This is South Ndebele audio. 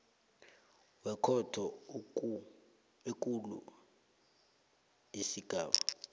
wekhotho ekulu isigaba